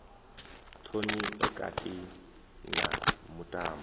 thomi e kati na mutambo